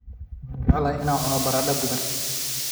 Waxaan jeclahay inaan cuno baradho duban